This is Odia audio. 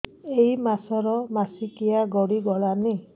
ଏଇ ମାସ ର ମାସିକିଆ ଗଡି ଗଲାଣି